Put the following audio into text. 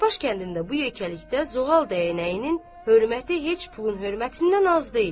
Dana baş kəndində bu yəkilikdə zoğal dəyənəyinin hörməti heç pulun hörmətindən az deyil.